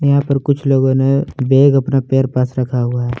यहां पर कुछ लोगों ने बैग अपने पैर पास रखा हुआ है।